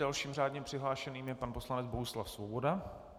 Dalším řádně přihlášeným je pan poslanec Bohuslav Svoboda.